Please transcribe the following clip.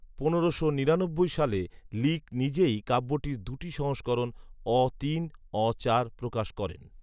পনেরোশো নিরানব্বই সালে লিক নিজেই কাব্যটির দুটি সংস্করণ, অ তিন, অ চার, প্রকাশ করেন